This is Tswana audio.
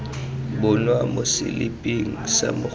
bonwa mo seliping sa mogolo